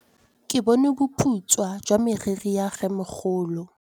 Ke bone boputswa jwa meriri ya rrêmogolo.